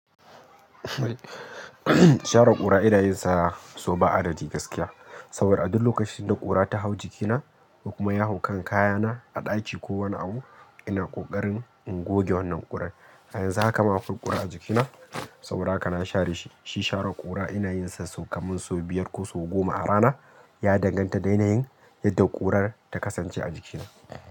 Share ƙura ina yin sa so ba adadi gaskiya. Saboda a duk lokacin da ƙura ta hau jikina, kuma ya hau kan kayana a ɗaki, ko wani abu, ina ƙoƙarin in goge wannan ƙurar. Yanzu haka ma akwai ƙura a jikina saboda haka na share shi. Shi share ƙura ina yin sa sau kamar sau biyar ko sau goma a rana. Ya danganta da yanayin yadda ƙurar ta kasance a jikina.